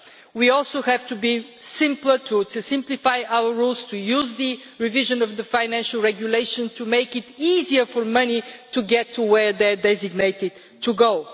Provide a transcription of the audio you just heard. We also have to simplify our rules, to use the revision of the Financial Regulation to make it easier for money to get to where it is designated to go.